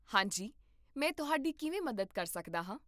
ਹਾਂ ਜੀ, ਮੈਂ ਤੁਹਾਡੀ ਕਿਵੇਂ ਮਦਦ ਕਰ ਸਕਦਾ ਹਾਂ?